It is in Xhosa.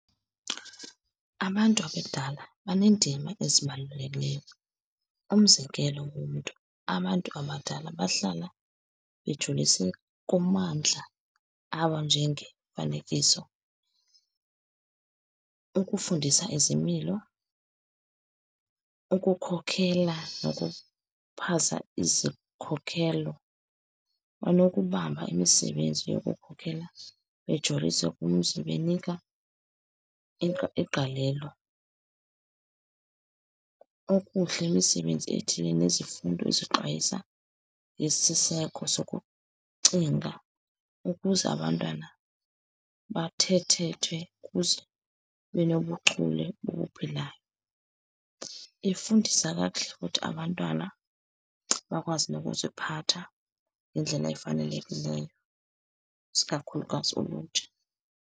Abantu abadala baneendima ezibalulekileyo. Umzekelo womntu, abantu abadala bahlala bejulise kumandla abanjengemifanekiso, ukufundisa izimilo, ukukhokhela, nokuphaza izikhokhelo. Onokubamba imisebenzi yokukhokhela bejolise kumzi, benika igalelo, okuhle imisebenzi ethile, nezifundo ezixwayisa yesiseko sokucinga ukuze abantwana bathethethwe kuze benobuchule bobuphilayo. Ifundisa kakuhle, futhi abantwana bakwazi nokuziphatha ngendlela efanelekileyo, isikakhulukazi ulutsha.